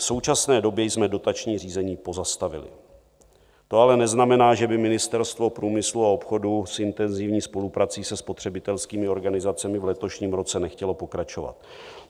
V současné době jsme dotační řízení pozastavili, to ale neznamená, že by Ministerstvo průmyslu a obchodu s intenzivní spoluprací se spotřebitelskými organizacemi v letošním roce nechtělo pokračovat.